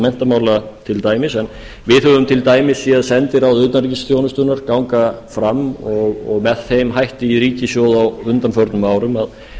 menntamála til dæmis en við höfum til dæmis séð sendiráð utanríkisþjónustunnar ganga fram og með þeim hætti í ríkissjóð á undanförnum árum að